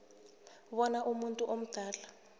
bona umuntu omdala